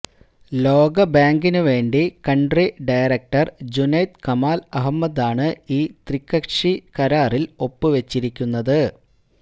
ലോകബാങ്കിന് വേണ്ടി country director Junaid Kamal അഹമ്മദാണ് ഈ ത്രികക്ഷി കരാറില് ഒപ്പുവെച്ചിരിക്കുന്നത്